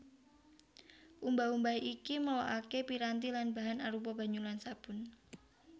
Umbah umbah iki merlokaké piranti lan bahan arupa banyu lan sabun